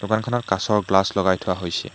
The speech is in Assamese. দোকানখনত কাঁচৰ গ্লাচ লগাই থোৱা হৈছে।